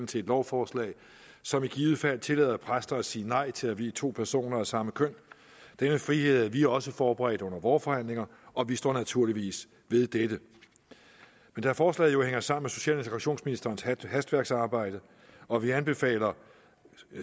til et lovforslag som i givet fald tillader præster at sige nej til at vie to personer af samme køn den frihed havde vi også forberedt under vore forhandlinger og vi står naturligvis ved dette men da forslaget hænger sammen med social og integrationsministerens hastværksarbejde og vi anbefaler